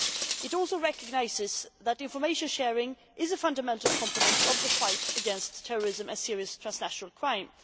It also recognises that information sharing is a fundamental component of the fight against terrorism and serious transnational crime.